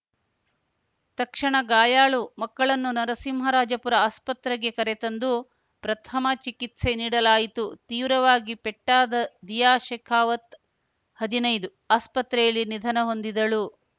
ತಕ್ಷಣ ಗಾಯಾಳು ಮಕ್ಕಳನ್ನು ನರಸಿಂಹರಾಜಪುರ ಆಸ್ಪತ್ರೆಗೆ ಕರೆ ತಂದು ಪ್ರಥಮ ಚಿಕಿತ್ಸೆ ನೀಡಲಾಯಿತು ತೀವ್ರವಾಗಿ ಪೆಟ್ಟಾದ ದಿಯಾ ಶೇಕಾವತ್‌ ಹದಿನೈದು ಆಸ್ಪತ್ರೆಯಲ್ಲಿ ನಿಧನ ಹೊಂದಿದಳು